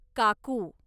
काकू